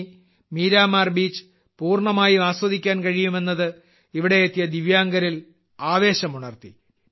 ഇനി മീരാമാർ ബീച്ച് പൂർണമായി ആസ്വദിക്കാൻ കഴിയുമെന്നത് ഇവിടെയെത്തിയ ദിവ്യാംഗരിൽ ആവേശമുണർത്തി